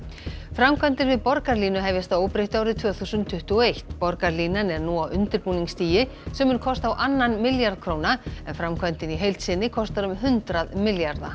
framkvæmdir við borgarlínu hefjast að óbreyttu árið tvö þúsund tuttugu og eitt borgarlínan er nú á undirbúningsstigi sem mun kosta á annan milljarð króna en framkvæmdin í heild sinni kostar um hundrað milljarða